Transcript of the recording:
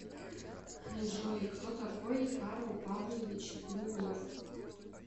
джой кто такой карл павлович брюллов